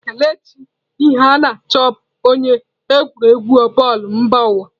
Kelechi Iheanacho bụ onye egwuregwu bọọlụ mba ụwa.